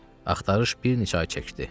Axtarış bir neçə ay çəkdi.